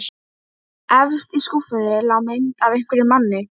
Það vantar ekki plássið og ekki heldur útsýnið-meðan bjart er.